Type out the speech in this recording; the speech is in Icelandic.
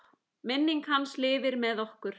Minning hans lifir með okkur.